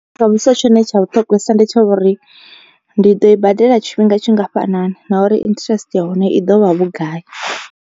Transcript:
Tshone tsha vhuṱhogwesa ndi tsha uri ndi ḓo i badela tshifhinga tshingafhanani, nauri interest ya hone i ḓovha vhugai.